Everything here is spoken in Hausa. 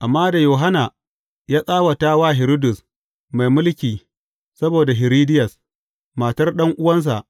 Amma da Yohanna ya tsawata wa Hiridus mai mulki saboda Hiridiyas, matar ɗan’uwansa,